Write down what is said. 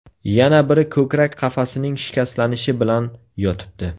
Yana biri ko‘krak qafasining shikastlanishi bilan yotibdi.